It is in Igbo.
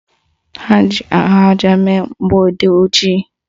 Ha ji ahụaja mee mgbọodee ojii